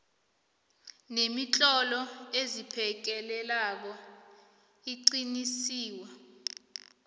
nemitlolo esiphekelelako iliqiniso